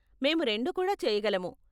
మేము రెండూ కూడా చేయగలము.